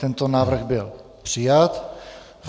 Tento návrh byl přijat.